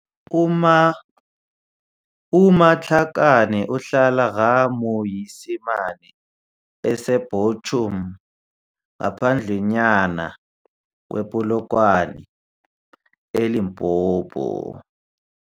U-Matlakane uhlala Ga-Moisimane, ese-Buchum ngaphandlanyana kwe-Polokwane, eLimpopo.